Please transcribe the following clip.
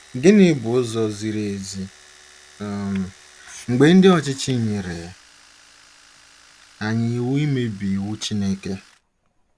Gịnị bụ ụzọ ziri ezi um mgbe ndị ọchịchị nyere anyị iwu imebi iwu Chineke?